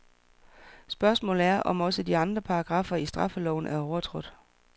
Spørgsmålet er om også andre paragraffer i straffeloven er overtrådt.